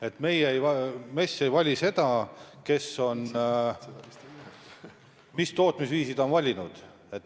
MES ei tee vahet, kes mis tootmisviisi on valinud.